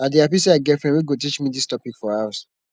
i dey happy say i get friend wey go teach me dis topic for house